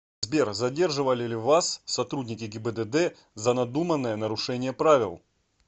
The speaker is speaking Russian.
сбер задерживали ли вас сотрудники гибдд за надуманное нарушение правил